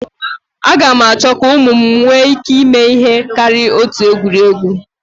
Aga m achọ ka ụmụ m nwee ike ịme ihe karịrị otu egwuregwu